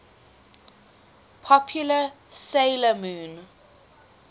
popular 'sailor moon